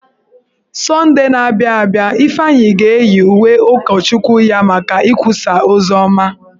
Sọndee na-abịa abịa, Ifeanyị ga-eyi uwe ụkọchukwu ya maka ikwusa oziọma.